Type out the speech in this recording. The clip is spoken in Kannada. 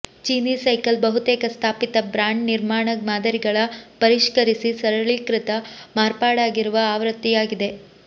ಚೀನೀ ಸೈಕಲ್ ಬಹುತೇಕ ಸ್ಥಾಪಿತ ಬ್ರಾಂಡ್ ನಿರ್ಮಾಣ ಮಾದರಿಗಳ ಪರಿಷ್ಕರಿಸಿ ಸರಳೀಕೃತ ಮಾರ್ಪಾಡಾಗಿರುವ ಆವೃತ್ತಿಯಾಗಿದೆ